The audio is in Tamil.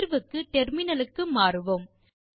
தீர்வுக்கு டெர்மினலுக்கு மாறுவோம்